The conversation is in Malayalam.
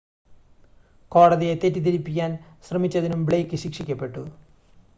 കോടതിയെ തെറ്റിദ്ധരിപ്പിക്കാൻ ശ്രമിച്ചതിനും ബ്ലെയ്ക്ക് ശിക്ഷിക്കപ്പെട്ടു